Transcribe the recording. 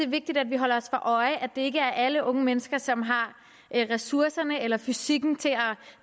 vigtigt at vi holder os for øje at det ikke er alle unge mennesker som har ressourcerne eller fysikken til at